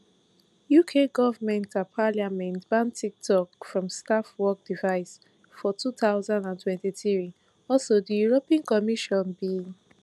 uk goment and parliament ban tiktok from staff work devices for two thousand and twenty-three also di european commission